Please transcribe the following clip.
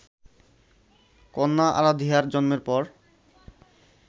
কন্যা আরাধিয়ার জন্মের পর